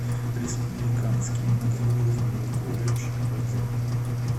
республиканский многоуровневый колледж отзывы